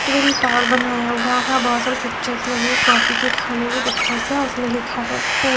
twin tower बनाया हुआ है और बहुत सारी पिक्चर्स लगी हुई कॉफी की खाने की पिक्चर्स हैं और उसमें लिखा हुआ है फ़ूड --